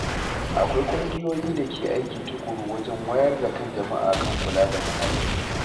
Akwai ƙungiyoyi da ke aiki tukuru wajen wayar da kan jama’a kan kula da muhalli.